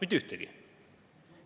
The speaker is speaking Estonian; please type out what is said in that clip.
Mitte ühtegi!